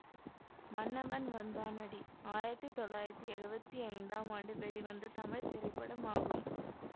மன்னவன் வந்தானடி ஆயிரத்தி தொள்ளாயிரத்தி எழுவத்தி ஐந்தாம் ஆண்டு வெளிவந்த தமிழ் திரைப்படமாகும்